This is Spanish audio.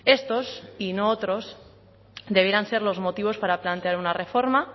estos y no otros debieran ser los motivos para plantear una reforma